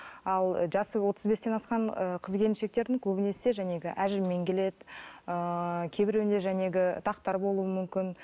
ал жасы отыз бестен асқан ы қыз келіншектердің көбінесе әжіммен келеді ыыы кейбіреуінде дақтар болуы мүмкін